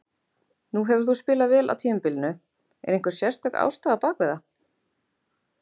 Nú hefur þú spilað vel á tímabilinu, er einhver sérstök ástæða á bak við það?